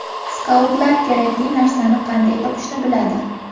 Skautlar kerakli narsani qanday topishni biladi.